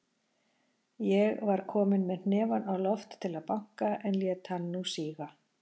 Ég var kominn með hnefann á loft til að banka, en lét hann nú síga.